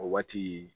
O waati